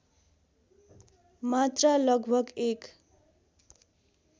मात्रा लगभग एक